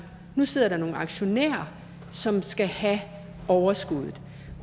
nu sidder der nogle aktionærer som skal have overskuddet